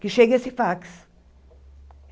Que chegue esse fax.